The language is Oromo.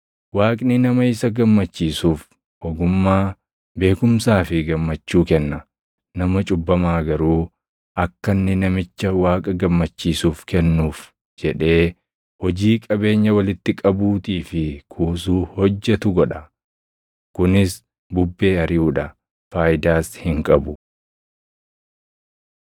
Waaqni nama isa gammachiisuuf ogummaa, beekumsaa fi gammachuu kenna; nama cubbamaa garuu akka inni namicha Waaqa gammachiisuuf kennuuf jedhee hojii qabeenya walitti qabuutii fi kuusuu hojjetu godha. Kunis bubbee ariʼuu dha; faayidaas hin qabu.